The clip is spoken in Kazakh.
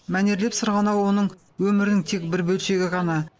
мәнерлеп сырғанау оның өмірінің тек бір бөлшегі ғана